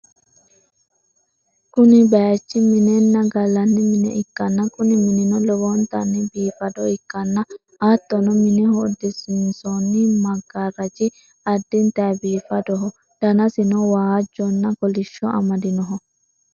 kuni bayichi minenna gallanni mine ikkanna, kuni minino lowontanni biifado ikkanna, hattono mineho uddisiinsoonni maggaaraji addintay biifadoho, danasino waajjonna kolishsho amadinoho.